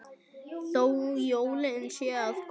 Þó jólin séu að koma.